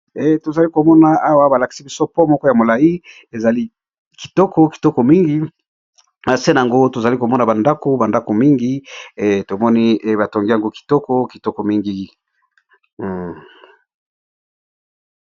Tozali komona awa balakisi biso pont moko ya molai ezali kitoko kitoko mingi nase na yango tozali komona bandako bandako mingi tomoni batongi yango kitoko kitoko mingi.